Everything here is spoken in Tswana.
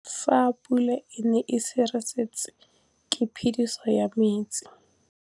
Fa pula e nelê serêtsê ke phêdisô ya metsi.